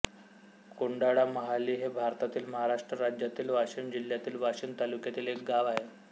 कोंडाळामहाली हे भारतातील महाराष्ट्र राज्यातील वाशिम जिल्ह्यातील वाशीम तालुक्यातील एक गाव आहे